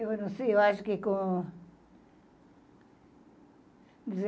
Eu não sei, eu acho que com